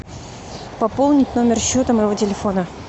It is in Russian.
пополнить номер счета моего телефона